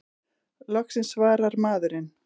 Loksins svarar maðurinn!